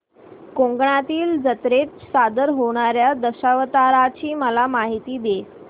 कोकणातील जत्रेत सादर होणार्या दशावताराची मला माहिती दे